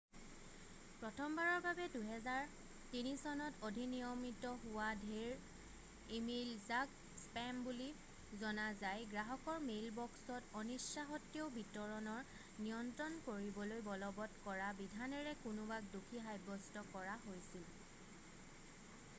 প্ৰথমবাৰৰ বাবে 2003 চনত অধিনিয়মিত হোৱা ঢেৰ ইমেইল যাক স্পেম বুলিও জনা যায় গ্ৰাহকৰ মেইলবক্সত অনিচ্ছাসত্বেও বিতৰণৰ নিয়ন্ত্ৰণ কৰিবলৈ বলৱৎ কৰা বিধানেৰে কোনোবাক দোষী সাব্যস্ত কৰা হৈছিল